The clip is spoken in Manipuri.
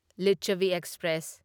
ꯂꯤꯆꯥꯚꯤ ꯑꯦꯛꯁꯄ꯭ꯔꯦꯁ